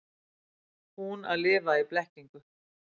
Hún að lifa í blekkingu.